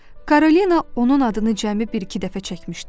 Karolina onun adını cəmi bir-iki dəfə çəkmişdi.